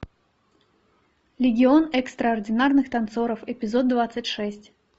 легион экстраординарных танцоров эпизод двадцать шесть